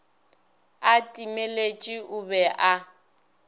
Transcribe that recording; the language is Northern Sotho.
a timeletše o be a